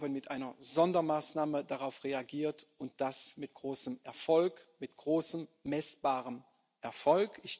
Wir haben mit einer Sondermaßnahme darauf reagiert, und das mit großem Erfolg, mit großem messbarem Erfolg.